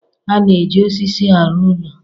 A na-eji osisi arụ ụlọ.